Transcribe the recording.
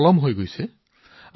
বহুত দেৰি হৈছে